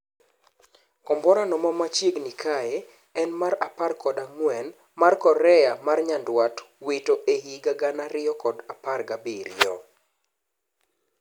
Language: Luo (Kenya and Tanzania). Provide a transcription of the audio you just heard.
Komborano ma machiegni kae en mar apar kod ang'wen mar Korea mar nyandwat wito ehiga gana ariyo kod apar ga abirio